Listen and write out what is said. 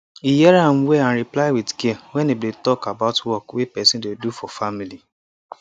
he hear am well and reply with care when dem dey talk about work way person dey do for family